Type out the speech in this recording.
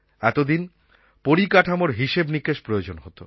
এতদিন পরিকাঠামোর হিসাবনিকাশ প্রয়োজন হত